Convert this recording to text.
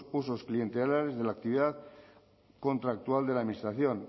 usos clientelares de la actividad contractual de la administración